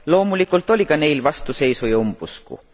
Loomulikult oli ka neil vastuseisu ja umbusku.